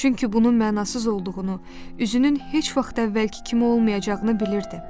Çünki bunun mənasız olduğunu, üzünün heç vaxt əvvəlki kimi olmayacağını bilirdi.